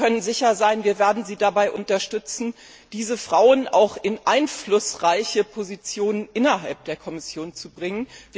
Sie können sicher sein, wir werden Sie dabei unterstützen, diese Frauen auch in einflussreiche Positionen innerhalb der Kommission zu bringen.